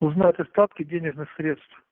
узнать остатки денежных средств